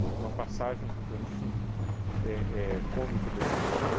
Tem uma passagem que para mim é é cômico, deprimente,